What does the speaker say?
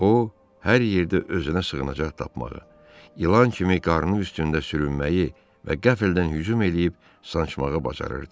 O hər yerdə özünə sığınacaq tapmağı, ilan kimi qarnı üstündə sürünməyi və qəflətən hücum eləyib sancmağı bacarırdı.